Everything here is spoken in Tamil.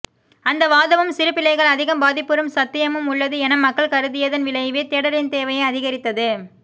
அந்தவாதமும் சிறுபிள்ளைகள் அதிகம் பாதிப்புறும் சத்தியமும் உள்ளது என மக்கள் கருதியதன் விளைவே தேடலின் தேவையை அதிகரித்தது